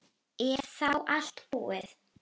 Er þá allt búið?